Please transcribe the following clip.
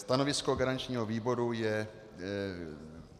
Stanovisko garančního výboru je -